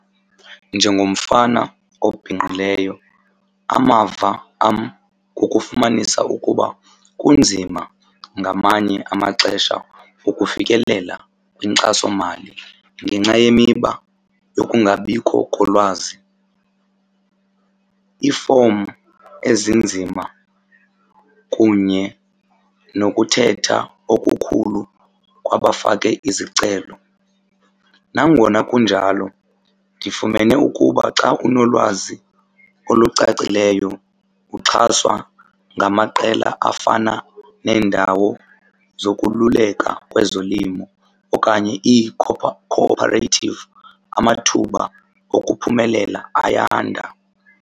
Njengomfana obhinqileyo amava am kukufumanisa ukuba kunzima ngamanye amaxesha ukufikelela kwinkxasomali ngenxa yemiba yokungabikho kolwazi, iifomi ezinzima kunye nokuthetha okukhulu kwabafake izicelo. Nangona kunjalo ndifumene ukuba xa unolwazi olucacileyo, uxhaswa ngamaqela afana neendawo zokululeka kwezolimo okanye iikho-ophareythivu amathuba okuphumelela ayanda.